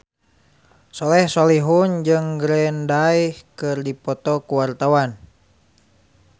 Soleh Solihun jeung Green Day keur dipoto ku wartawan